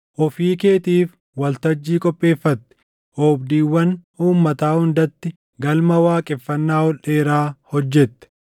ofii keetiif waltajjii qopheeffatte; oobdiiwwan uummataa hundatti galma waaqeffannaa ol dheeraa hojjette.